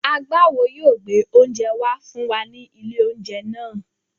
Agbáwo yóò gbé oúnjẹ wá fún wa ní ilé-oúnjẹ náà.